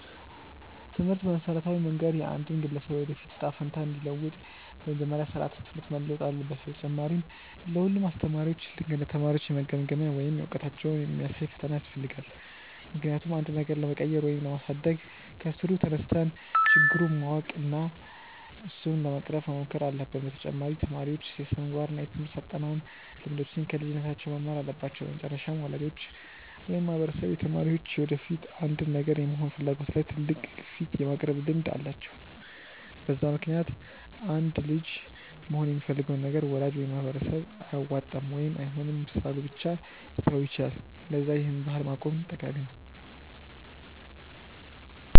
ትምህርት በመሠረታዊ መንገድ የአንድን ግለሰብ የወደፊት እጣ ፈንታ እንዲለውጥ፤ በመጀመሪያ ስራዓተ ትምህርት መለወጥ አለበት፣ በተጨማሪ ለ ሁሉም አስተማሪዎች ልክ እንደ ተማሪዎች የመገምገሚያ ወይም እውቀታቸውን የሚያሳይ ፈተና ያስፈልጋል፤ ምክንያቱም አንድን ነገር ለመቀየር ወይም ለማሳደግ ከስሩ ተነስተን ችግሩን ማወቅ እና እሱን ለመቅረፍ መሞከር አለብን፤ በተጨማሪ ተማሪዎች የስነምግባር እና የትምርህት አጠናን ልምዶችን ከልጅነታቸው መማር አለባቸው፤ በመጨረሻም ወላጆች ወይም ማህበረሰብ የተማሪዎች የወደፊት አንድን ነገር የመሆን ፍላጎት ላይ ትልቅ ግፊት የማቅረብ ልምድ አላቸው፤ በዛ ምክንያትም አንድ ልጅ መሆን የሚፈልገውን ነገር ወላጅ ወይም ማህበረሰብ አያዋጣም ወይም አይሆንም ስላሉ ብቻ ሊተወው ይችላል፤ ለዛ ይህን ባህል ማቆም ጠቃሚ ነው።